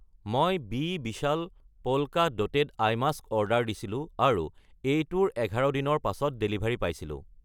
মই বি বিশাল polka dotted eye mask order দিছিলোঁ আৰু এইটোৰ 11 দিনৰ পাছত ডেলিভাৰী পাইছিলোঁ।